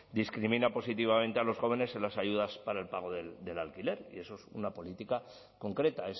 discrimina positivamente a los jóvenes en las ayudas para el pago del alquiler y eso es una política concreta